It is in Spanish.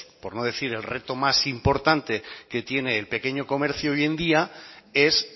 por no decir el reto más importante que tiene el pequeño comercio hoy en día es